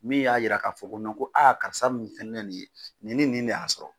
Min y'a yira k'a fɔ ko ko karisa min fɛn ne nin ye nin ni nin de y'a sɔrɔ.